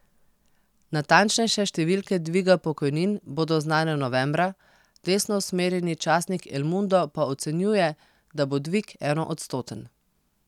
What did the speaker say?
Natančnejše številke dviga pokojnin bodo znane novembra, desnousmerjeni časnik El Mundo pa ocenjuje, da bo dvig enoodstoten.